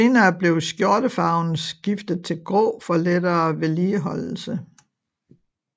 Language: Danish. Senere blev skjortefarven skiftet til grå for lettere vedligeholdelse